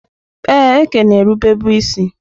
Ee, Eke na-erube bụ isi.